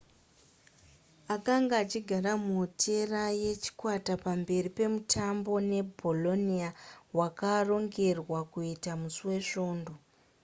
akanga achigara muhotera yechikwata pamberi pemutambo nebolonia wakarongerwa kuitwa musi wesvondo